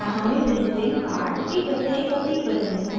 क्या हमें visiting card की प्रत्येक प्रति बदलनी होगी